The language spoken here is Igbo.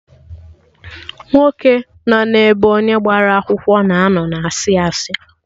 Nwoke nọ n'ebe onye agbara akwụkwọ na-ano na asị asị